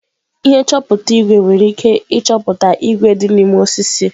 Ihe nchọpụta ígwè nwere ike ịchọpụta ígwè dị n'ime osisi.